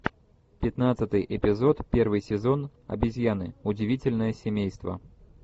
пятнадцатый эпизод первый сезон обезьяны удивительное семейство